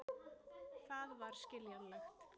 Það var skiljanlegt.